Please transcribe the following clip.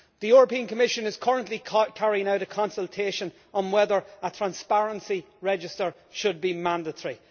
The European Commission is currently carrying out a consultation on whether a transparency register should be mandatory.